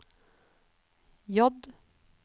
J